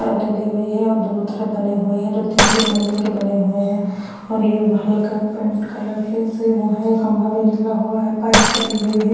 और हुई है और दोनों तरफ बने हुए हैं जो तीन तीन मंजिल के बने हुए हैं और ये हल्का पेंट कलर से वह है खंभा भी निकला हुआ है पाइप पड़ी हुई है।